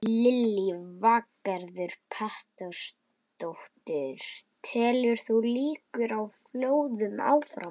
Lillý Valgerður Pétursdóttir: Telur þú líkur á flóðum áfram?